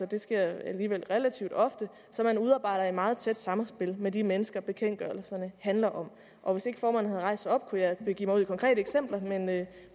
det sker alligevel relativt ofte som man udarbejder i meget tæt samspil med de mennesker bekendtgørelserne handler om og hvis ikke formanden havde rejst sig op kunne jeg begive mig ud i konkrete eksempler